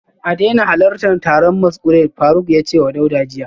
A daina halartar taron masquerade, Faruk ya ce wa Dauda jiya